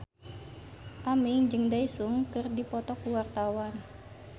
Aming jeung Daesung keur dipoto ku wartawan